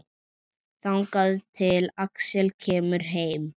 Þangað til Axel kemur heim.